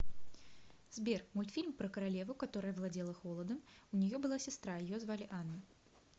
сбер мультфильм про королеву которая владела холодам у нее была сестра ее звали анна